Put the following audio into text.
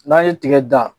N'an ye tigɛ dan